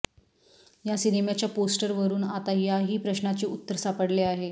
या सिनेमाच्या पोस्टरवरून आता या ही प्रश्नाचे उत्तर सापडले आहे